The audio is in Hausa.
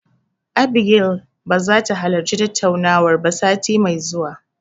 Abigail ba zai halarci tattaunawar ba sati mai zuwa.